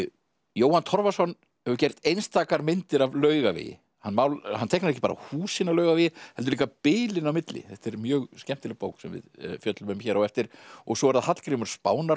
Jóhann Torfason hefur gert einstakar myndir af Laugavegi hann hann teiknar ekki bara húsin á Laugavegi heldur líka bilin á milli þetta er mjög skemmtileg bók sem við fjöllum um hér á eftir svo er það Hallgrímur